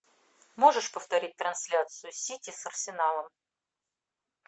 можешь повторить трансляцию сити с арсеналом